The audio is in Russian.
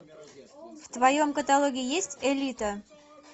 в твоем каталоге есть элита